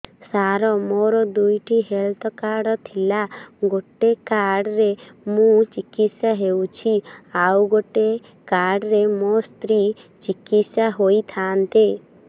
ସାର ମୋର ଦୁଇଟି health card ଥିଲା ଗୋଟେ କାର୍ଡ ରେ ମୁଁ ଚିକିତ୍ସା ହେଉଛି ଆଉ ଗୋଟେ କାର୍ଡ ରେ ମୋ ସ୍ତ୍ରୀ ଚିକିତ୍ସା ହୋଇଥାନ୍ତେ